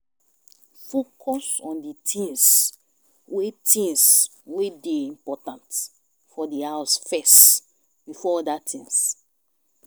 Focus on di things wey things wey dey important for di house first before oda things